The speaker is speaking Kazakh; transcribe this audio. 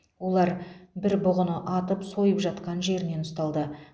олар бір бұғыны атып сойып жатқан жерінен ұсталды